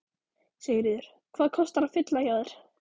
Sigríður: Hvað kostar að fylla hjá þér?